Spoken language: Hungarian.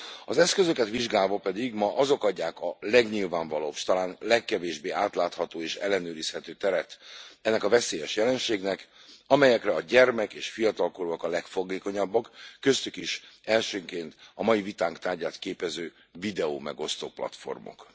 Az eszközöket vizsgálva pedig ma azok adják a legnyilvánvalóbb, s talán legkevésbé átlátható és ellenőrizhető teret ennek a veszélyes jelenségnek, amelyekre a gyermek és fiatalkorúak a legfogékonyabbak, köztük is elsőként a mai vitánk tárgyát képező videómegosztó platformok.